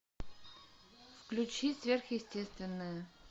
включи сверхъестественное